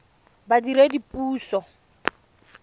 badiredipuso